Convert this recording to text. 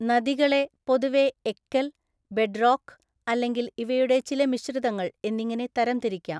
നദികളെ പൊതുവെ എക്കൽ, ബെഡ്‌റോക്ക്, അല്ലെങ്കിൽ ഇവയുടെ ചില മിശ്രിതങ്ങൾ എന്നിങ്ങനെ തരംതിരിക്കാം.